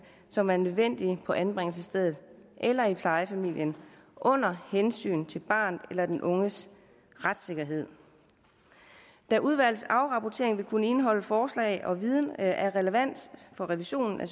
som er nødvendige på anbringelsesstedet eller i plejefamilien under hensyn til barnets eller den unges retssikkerhed da udvalgets afrapportering vil kunne indeholde forslag og viden af relevans for revisionen af